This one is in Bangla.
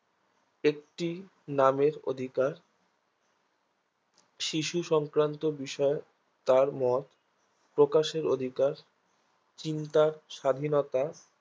একটি নামের অধিকার শিশুসংক্রান্ত বিষয় তার মতপ্রকাশের অধিকার চিন্তার স্বাধীনতা